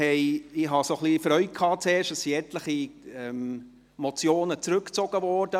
Ich hatte zuerst ein bisschen Freude, weil etliche Motionen zurückgezogen wurden.